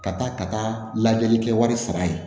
Ka taa ka taa lajɛli kɛ wari sara ye